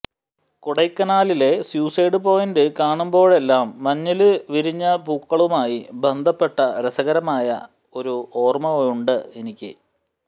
കൊടൈക്കനാലിലെ suicide point കാണുമ്പോഴെല്ലാം മഞ്ഞില് വിരിഞ്ഞപൂക്കളുമായി ബന്ധപ്പെട്ട രസകരമായ ഒരു ഓര്മയുണ്ട് എനിക്ക്